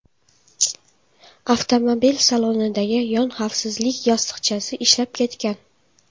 Avtomobil salonidagi yon xavfsizlik yostiqchasi ishlab ketgan.